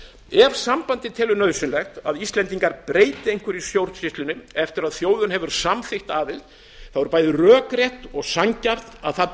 ef sambandið telur nauðsynlegt að íslendingar breyti einhverju í stjórnsýslunni eftir að þjóðin hefur samþykkt aðild er bæði rökrétt og sanngjarnt að það